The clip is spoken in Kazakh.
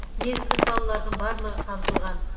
негізгі салалардың барлығы қамтылған